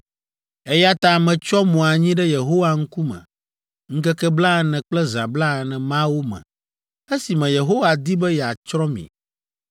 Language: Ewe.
eya ta metsyɔ mo anyi ɖe Yehowa ŋkume ŋkeke blaene kple zã blaene mawo me esime Yehowa di be yeatsrɔ̃ mi.